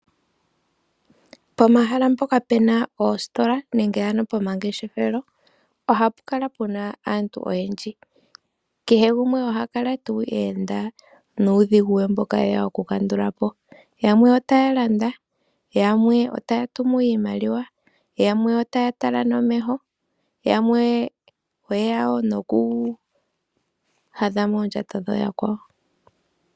Pomahala mpoka pe na oositola nenge ano pomangeshefelo ohapu kala pu na aantu oyendji. Kehe gumwe oha kala tuu eenda nuudhigu we mboka e ya okukandula po. Yamwe otaya landa, yamwe otaya tumu iimaliwa, yamwe otaya tala nomeho, yamwe oye ya wo nokuhadha moondjato dhooyakwawo.